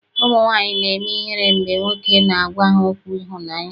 Ụmụnwaanyị na-eme ihere mgbe nwoke na-agwa ha okwu ịhụnaanya.